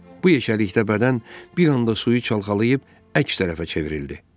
Bu yekəlikdə bədən bir anda suyu çalxalayıb əks tərəfə çevrildi.